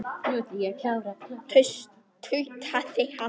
Þetta er ekki tónlist, þetta er sarg tautaði hann.